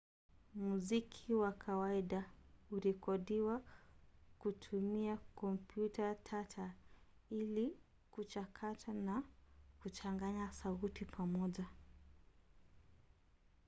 muziki kwa kawaida hurekodiwa kutumia kompyuta tata ili kuchakata na kuchanganya sauti pamoja